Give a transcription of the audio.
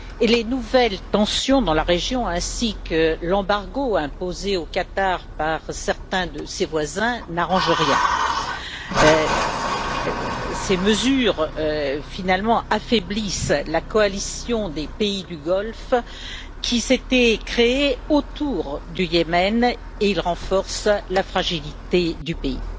Les nouvelles tensions dans la région, ainsi que l'embargo imposé au Qatar par certains de ses voisins n'arrangent rien. Ces mesures affaiblissent la coalition des pays du Golfe qui s'était créée autour du Yémen et elles renforcent la fragilité du pays.